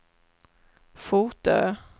Fotö